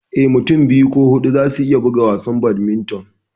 Eh, Mutum biyu ko huɗu za su iya buga wasan Badminton.